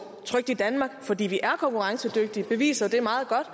trykt i danmark fordi vi er konkurrencedygtige beviser det jo meget godt